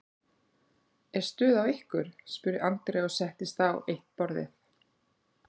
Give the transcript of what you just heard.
Er stuð á ykkur? spurði Andrea og settist á eitt borðið.